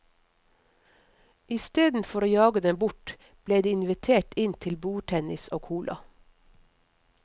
Istedenfor å jage dem bort, ble de invitert inn til bordtennis og cola.